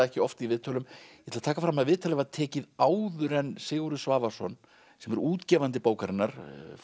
ekki oft í viðtölum ég ætla að taka fram að viðtalið var tekið áður en Sigurður Svavarsson sem er útgefandi bókarinnar